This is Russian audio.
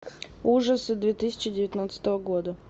ужасы две тысячи девятнадцатого года